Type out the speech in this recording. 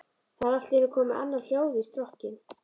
Það er allt í einu komið annað hljóð í strokkinn.